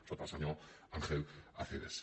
sota el senyor ángel acebes